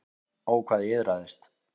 Ó, hvað ég iðraðist.